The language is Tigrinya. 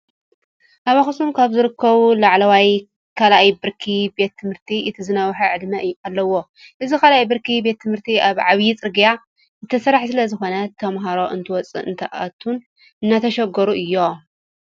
ኣብ ኣክሱም ካብ ዝርከቡ ላዕለዋይ ካልኣይ ብርኪ ቤት ትምህርቲ እቲ ዝነውሓ ዕድመ ኣለዎ። እዚ ካልኣይ ብርኪ ቤት ትምህርቲ ኣብ ዓብይ ፅርጊያ ዝተሰርሓ ስለዝኾነ ተምሃሮ እንትወፅኡን እንትኣትውን እናተሸገሩ እዮም።